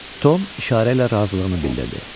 Tom işarə ilə razılığını bildirdi.